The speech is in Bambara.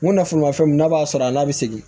N ko nafolomafɛn mun n'a b'a sɔrɔ a n'a bi sigi